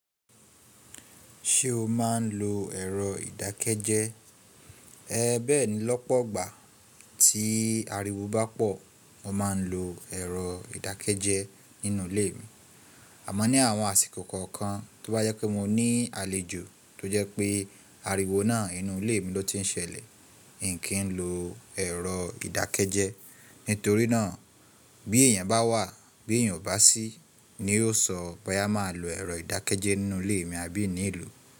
Ṣé o máa n lo ẹ̀rọ ìdákẹ́jẹ́? Ẹn bẹ́ẹ̀ni lọ́pọ̀gbà tí ariwo bá pọ̀, mo máa ń lo ẹ̀rọ ìdákẹ́jẹ́ nínú ilé mi. Àmọ́ ní àwọn àsìkò kọ̀ọ̀kan tí ó bá yẹ pé mo ní àlejò tó jẹ́ pé ariwo náà inú ilé mi ló ti ń ṣẹlẹ̀, n kìí lo ẹ̀rọ ìdákẹ́jẹ́. Nítorí náà bí èèyàn bá wà, bí èèyàn ò bá sí, ni yóo sọ bóyá máa lo ẹ̀rọ ìdákẹ́jẹ́ nínú ilé mi abí n ní lòó.